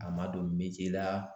A ma don la